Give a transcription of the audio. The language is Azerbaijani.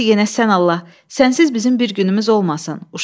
Bəsdir yenə sən Allah, sənsiz bizim bir günümüz olmasın.